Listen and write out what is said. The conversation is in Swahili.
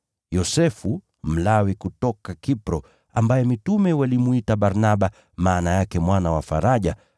Yosefu, Mlawi kutoka Kipro, ambaye mitume walimwita Barnaba (maana yake Mwana wa Faraja),